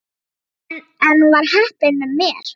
En enn var heppnin með mér.